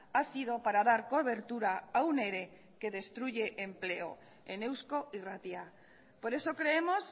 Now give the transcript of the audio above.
ha sido para dar cobertura a un ere que destruye empleo en eusko irratia por eso creemos